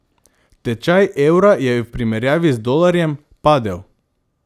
Tečaj evra je v primerjavi z dolarjem padel.